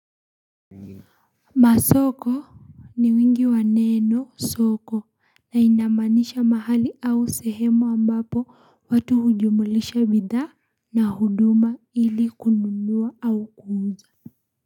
Masoko ni wingi wa neno soko na inamaanisha mahali au sehemu ambapo watu hujumulisha bidhaa na huduma ili kununua au kuuza.